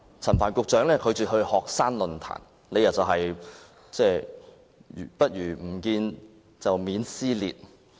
陳帆局長拒絕出席學生論壇，理由是"不如不見，避免撕裂"。